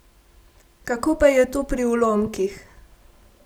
Kako pa je to pri ulomkih?